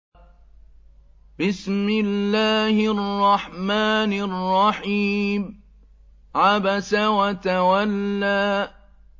عَبَسَ وَتَوَلَّىٰ